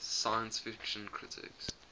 science fiction critics